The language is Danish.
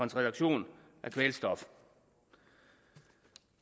reduktion af kvælstof